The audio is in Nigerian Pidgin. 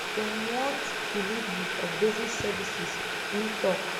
dem want delivery of basic services im tok